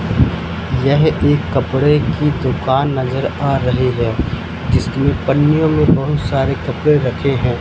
यह एक कपड़े की दुकान नजर आ रही है जिसमें पन्नियों में बहुत सारे कपड़े रखे हैं।